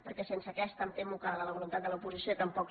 perquè sense aquesta em temo que la voluntat de l’oposició tampoc